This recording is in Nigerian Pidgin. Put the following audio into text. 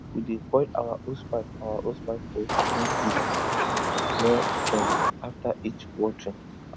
we dey coil our hosepipe our hosepipe for wooden hook near fence after each watering